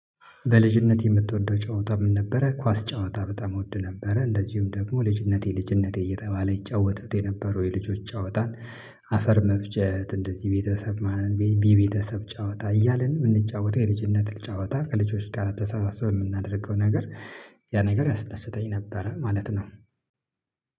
በልጅነት የምትወደው ጨዋታ ምን ነበረ? ኳስ ጨዋታ በጣም እወድ ነበረ። እንደዚሁም ደግሞ ልጅነቴ ልጅነቴ እየተባለ ይጫወቱት የነበረው የልጆች ጫወታን፤ አፈር መፍጨት፤ እንደዚህ ቤተሰብ ጫወታ እያልን የምንጫወተው የልጅነትን ጨዋታ ከልጆች ጋር ተሰበስበን የምናደርገው ነገር ያ ነገር ያስለስተኝ ነበረ ማለት ነው።